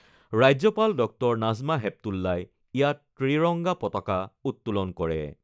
ৰাজ্যপাল ডঃ নাজমা হেপতুল্লাই ইয়াত ত্ৰিৰংগা পতাকা উত্তোলন কৰে।